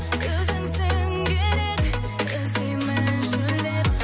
өзіңсің керек іздеймін шөлдеп